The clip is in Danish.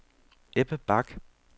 Ebbe Bach